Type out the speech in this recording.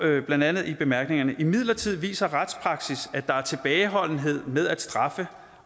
blandt andet i bemærkningerne imidlertid viser retspraksis at der er tilbageholdenhed med at straffe